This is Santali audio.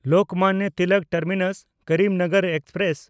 ᱞᱳᱠᱢᱟᱱᱱᱚ ᱛᱤᱞᱚᱠ ᱴᱟᱨᱢᱤᱱᱟᱥ–ᱠᱚᱨᱤᱢᱱᱚᱜᱚᱨ ᱮᱠᱥᱯᱨᱮᱥ